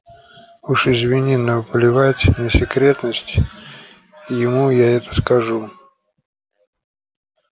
уж извини но плевать на секретность ему я это скажу